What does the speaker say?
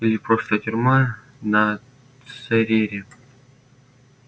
или просто тюрьма на церере